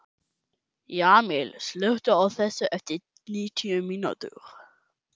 Jamil, slökktu á þessu eftir níutíu mínútur.